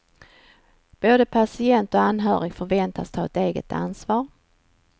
Både patient och anhörig förväntas ta ett eget ansvar.